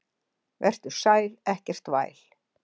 Vertu sæl, ekkert væl.